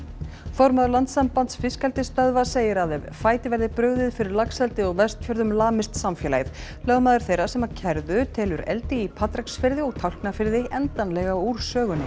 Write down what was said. formaður Landssambands fiskeldissstöðva segir að ef fæti verði brugðið fyrir laxeldi á Vestfjörðum lamist samfélagið lögmaður þeirra sem kærðu telur eldi í Patreksfirði og Tálknafirði endanlega úr sögunni